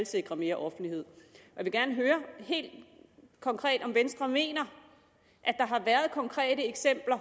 sikre mere offentlighed jeg vil gerne høre helt konkret om venstre mener at der har været konkrete eksempler